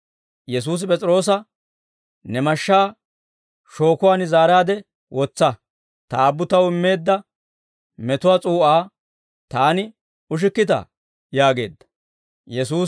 Yesuusi P'es'iroosa, «Ne mashshaa shookuwaan zaaraade wotsa! Ta Aabbu Taw immeedda metuwaa s'uu'aa Taani ushikkitaa?» yaageedda.